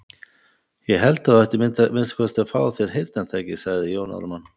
Ég held að þú ættir að minnsta kosti að fá þér heyrnartæki, sagði Jón Ármann.